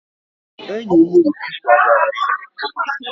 Enyi m Obi kwagara Etiopia